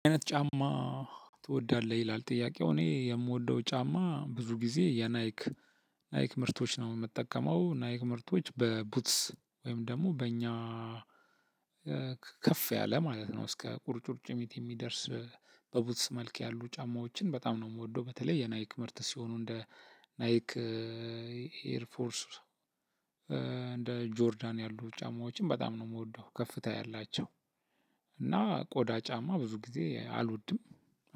ምን አይነት ጫማ ትወዳለህ? ይላል ጥያቄው እኔ የምወደው ጫማ ብዙ ጊዜ የናይክ ናይክ ምርቶች ነው የምትጠቀመው ናይክ ምርቶች በቡትስ ወይም ደግሞ በእኛ ከፍ ያለ ማለት ነው። እስከ ቁርጭምጭሚት የሚደርስ በቡትስ መልክ ያሉ ጫማዎችን በጣም ነው የምወደው። በተለይ የናይክ ምርት ሲሆኑ እንደ ናይክ ኤር ፎርስ እንደ ጆርዳን ያሉ ጫማዎችን በጣም ነው የምወደው። ከፍታ ያላቸው እና ቆዳ ጫማ ብዙ ጊዜ አልወድም